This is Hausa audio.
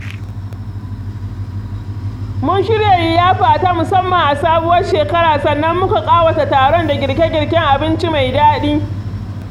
Mun shirya liyafa ta musamman a sabuwar shekara sannan muka ƙawata taron da girke0girken abinci mai daɗi.